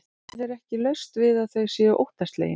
Það er ekki laust við að þau séu óttaslegin.